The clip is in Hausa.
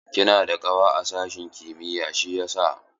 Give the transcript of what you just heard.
Kina da ƙawa a sashin kimiyar siyasa?